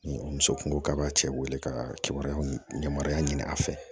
Ni o muso kungo k'a bɛ cɛ wele ka kibaruyaw yamaruya ɲini a fɛ